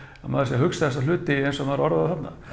að maður sé að hugsa þessa hluti eins og maður orðar þá þarna